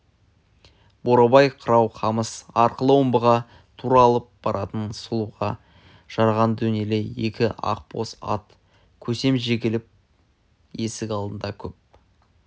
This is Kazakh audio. бурабай қырау қамыс арқылы омбыға тура алып баратын сұлыға жараған денелі екі ақбоз ат көсем жегіліп есік алдында көп